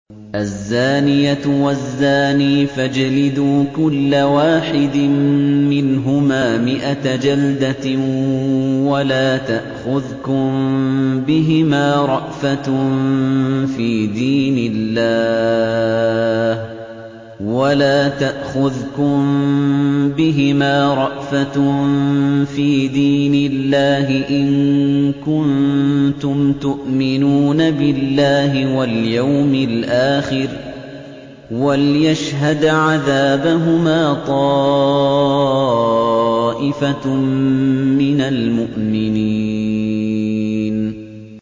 الزَّانِيَةُ وَالزَّانِي فَاجْلِدُوا كُلَّ وَاحِدٍ مِّنْهُمَا مِائَةَ جَلْدَةٍ ۖ وَلَا تَأْخُذْكُم بِهِمَا رَأْفَةٌ فِي دِينِ اللَّهِ إِن كُنتُمْ تُؤْمِنُونَ بِاللَّهِ وَالْيَوْمِ الْآخِرِ ۖ وَلْيَشْهَدْ عَذَابَهُمَا طَائِفَةٌ مِّنَ الْمُؤْمِنِينَ